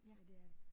Ja det er det